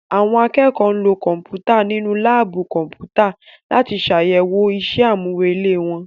Àwọn akẹ́kọ̀ọ́ lo Kọ̀m̀pútà nínú láàbù Kọ̀m̀pútà láti ṣàyẹ̀wò ìṣe àmúrelé wọn